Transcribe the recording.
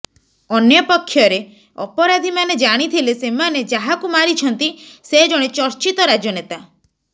ଅନ୍ୟପକ୍ଷରେ ଅପରାଧୀମାନେ ଜାଣିଥିଲେ ସେମାନେ ଯାହାକୁ ମାରିଛନ୍ତି ସେ ଜଣେ ଚର୍ଚ୍ଚିତ ରାଜନେତା